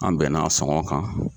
An bɛnna a sɔngɔn kan.